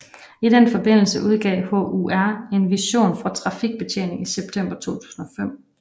I den forbindelse udgav HUR en vision for trafikbetjeningen i september 2005